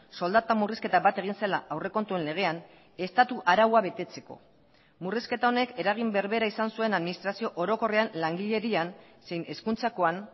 soldata murrizketa bat egin zela aurrekontuen legean estatu araua betetzeko murrizketa honek eragin berbera izan zuen administrazio orokorrean langilerian zein hezkuntzakoan